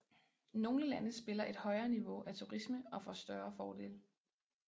Nogle lande spiller et højere niveau af turisme og får større fordele